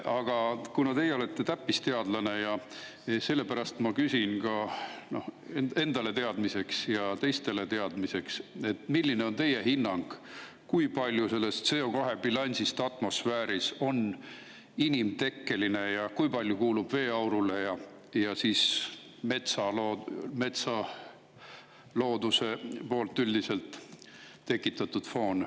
Aga kuna teie olete täppisteadlane, siis ma küsin enda ja teiste, milline on teie hinnang, kui palju sellest CO2 bilansist atmosfääris on inimtekkeline, kui palju kuulub veeaurule ja milline on looduse poolt tekitatud üldine foon.